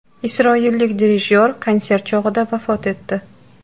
Isroillik dirijyor konsert chog‘ida vafot etdi.